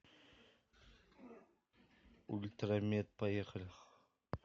ультрамед поехали